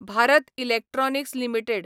Bharat Electronics limited